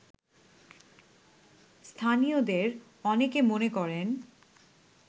স্থানীয়দের অনেকে মনে করেন